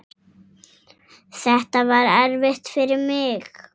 Þetta var erfitt fyrir mig.